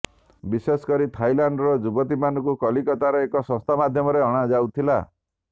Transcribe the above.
ବିଶେଷକରି ଥାଇଲାଣ୍ଡର ଯୁବତୀମାନଙ୍କୁ କଲିକତାର ଏକ ସଂସ୍ଥା ମାଧ୍ୟମରେ ଅଣାଯାଉଥିଲା